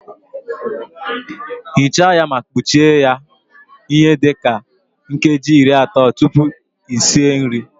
Ghichaa ya ma kpuchie ya ihe dị ka nkeji iri atọ tupu esi nri